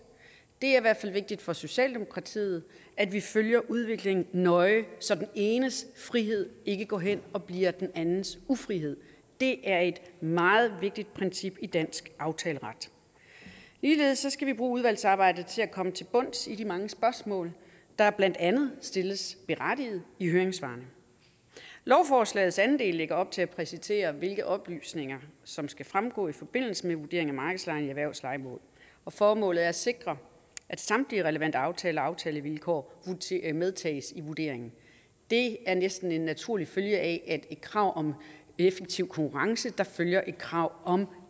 det er i hvert fald vigtigt for socialdemokratiet at vi følger udviklingen nøje så den enes frihed ikke går hen og bliver den andens ufrihed det er et meget vigtigt princip i dansk aftaleret ligeledes skal vi bruge udvalgsarbejdet til at komme til bunds i de mange spørgsmål der blandt andet stilles berettiget i høringssvarene lovforslagets anden en del lægger op til at præcisere hvilke oplysninger som skal fremgå i forbindelse med vurderingen af markedslejen i erhvervslejemål formålet er at sikre at samtlige relevante aftaler og aftalevilkår medtages i vurderingen det er næsten en naturlig følge af et krav om effektiv konkurrence der følger af et krav om